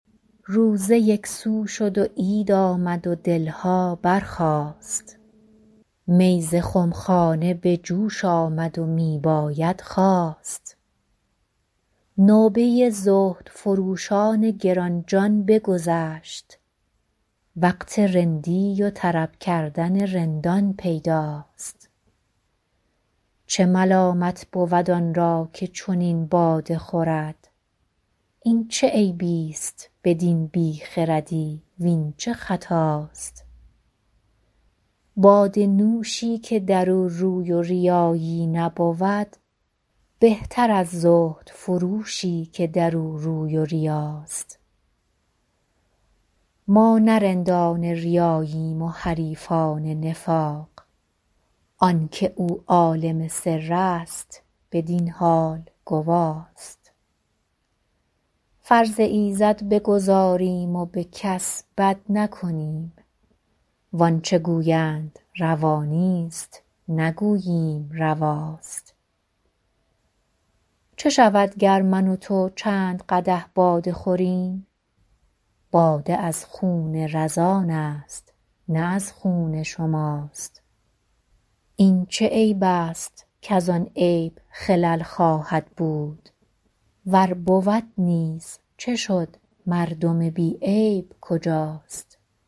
روزه یک سو شد و عید آمد و دل ها برخاست می ز خم خانه به جوش آمد و می باید خواست نوبه زهدفروشان گران جان بگذشت وقت رندی و طرب کردن رندان پیداست چه ملامت بود آن را که چنین باده خورد این چه عیب است بدین بی خردی وین چه خطاست باده نوشی که در او روی و ریایی نبود بهتر از زهدفروشی که در او روی و ریاست ما نه رندان ریاییم و حریفان نفاق آن که او عالم سر است بدین حال گواست فرض ایزد بگزاریم و به کس بد نکنیم وان چه گویند روا نیست نگوییم رواست چه شود گر من و تو چند قدح باده خوریم باده از خون رزان است نه از خون شماست این چه عیب است کز آن عیب خلل خواهد بود ور بود نیز چه شد مردم بی عیب کجاست